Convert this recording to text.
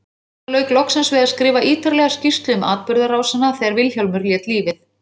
Gunnar lauk loksins við að skrifa ítarlega skýrslu um atburðarásina þegar Vilhjálmur lét lífið.